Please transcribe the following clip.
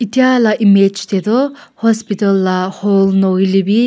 etia la image te toh hospital la hall nahoi le bi.